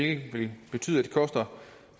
at det koster